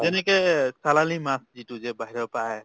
যেনেকে চালানী মাছ যিটো যে বাহিৰৰ পৰা আহে